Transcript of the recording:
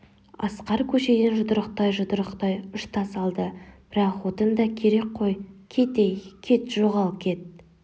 асқар көшеден жұдырықтай-жұдырықтай үш тас алды бірақ отын да керек қой кет ей кет жоғал кет